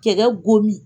Cɛkɛ go min